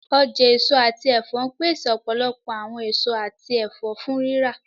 Ọja eso ati ẹfọ npese ọpọlọpọ awọn eso ati ẹfọ fun rira.